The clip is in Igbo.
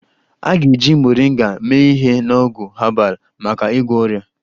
A ga-eji Moringa mee ihe na ọgwụ herbal maka ịgwọ ọrịa